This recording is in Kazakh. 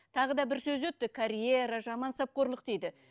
тағы бір сөз өтті карьера мансапқорлық дейді